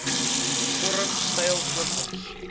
vorm styl voorkoms